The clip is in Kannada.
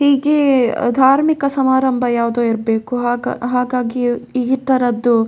ಹೀಗೆ ಧಾರ್ಮಿಕ ಸಮಾರಂಭ ಯಾವ್ದೋ ಇರ್ಬೇಕು ಹಾಗಾ ಹಾಗಾಗಿ ಈ ಥರದ್ದು --